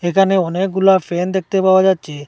এখানে অনেকগুলা ফ্যান দেখতে পাওয়া যাচ্চে ।